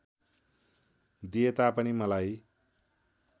दिए तापनि मलाई